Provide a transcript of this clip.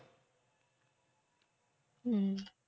হম